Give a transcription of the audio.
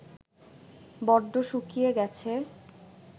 বড্ড শুকিয়ে গেছে